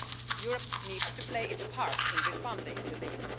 Europe needs to play its part in responding to these.